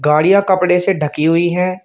गाड़ियां कपड़े से ढकी हुई हैं।